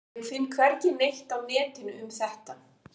Ég finn hvergi neitt á netinu um þetta.